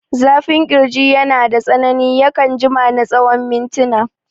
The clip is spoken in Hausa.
Zafin ƙirji yanada tsanani, yakan jima na tsawon mintina.